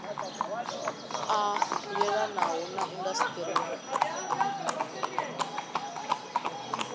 a yelanaho na indasiṱiri ya